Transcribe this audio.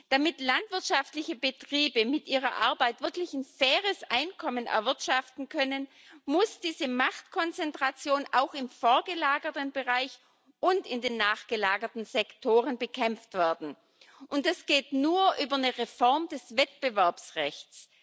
Damit landwirtschaftliche Betriebe mit ihrer Arbeit wirklich ein faires Einkommen erwirtschaften können, muss diese Machtkonzentration sowohl im vorgelagerten Bereich als auch in den nachgelagerten Sektoren bekämpft werden, und das geht nur über eine Reform des Wettbewerbsrechts.